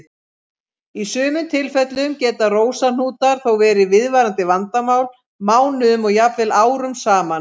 Í sumum tilfellum geta rósahnútar þó verið viðvarandi vandamál mánuðum og jafnvel árum saman.